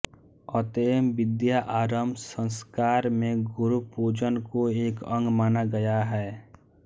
अतएव विद्यारम्भ संस्कार में गुरु पूजन को एक अंग माना गया है